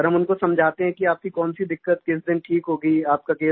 तो हम उनको समझाते हैं कि आपकी कौन सी दिक्कत किस दिन ठीक होगी